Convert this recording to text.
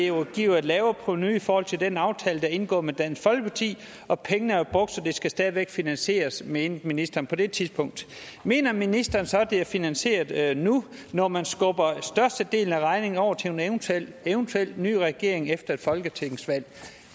jo give et lavere provenu i forhold til den aftale er indgået med dansk folkeparti og pengene var brugt så det skulle stadig væk finansieres det mente ministeren på det tidspunkt mener ministeren så at det er finansieret nu når man skubber størstedelen af regningen over til en eventuel eventuel ny regering efter et folketingsvalg